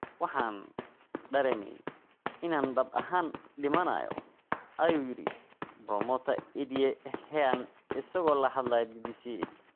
"Waxaan dareemay inaan dhab ahaan dhimanayo," ayuu yiri Promota Eddie Hearn isagoo la hadlaya BBC.